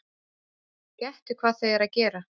Gettu hvað þau eru að gera?